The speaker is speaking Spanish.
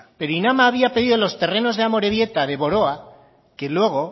pero inama había pedido los terrenos de amorebieta de boroa que luego